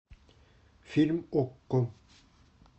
фильм окко